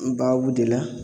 N baw de la